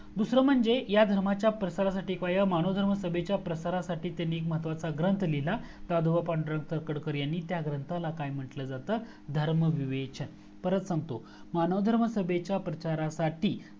दूसर म्हणजे ह्या धर्माच्या प्रसारासाठी ह्या मानव धर्माच्या प्रसारासाठी त्यांनी एक महत्वाचा ग्रंथ लिहिला दादोबा पांडुरंग तरखडकर यांनी त्या ग्रंथला काय म्हंटलं जातं धर्म विवेचन परत सांगतो मानव धर्म सभेच्या प्रचारासाठी